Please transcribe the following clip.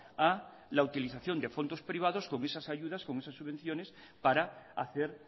a la utilización de fondos privados con esas ayudas con esas subvenciones para hacer